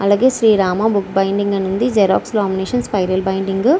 అలాగే Srirama book binding అని ఉంది జిరాక్స్ లామినేషన్ స్పైరల్ బైండింగ్ .